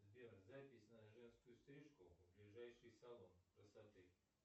сбер запись на женскую стрижку в ближайший салон красоты